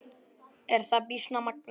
Er það býsna magnað.